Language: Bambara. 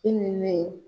Hinɛ